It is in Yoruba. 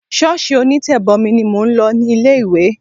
Ṣọ́ọ̀ṣì onítẹ̀bomi ni mò ń lọ ní ilé ìwé.